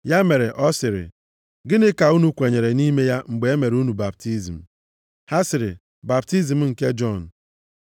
Ya mere, ọ sịrị, “Gịnị ka unu kwenyere nʼime ya mgbe e mere unu baptizim?” Ha sịrị, “Baptizim nke Jọn.”